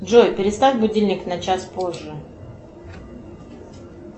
джой переставь будильник на час позже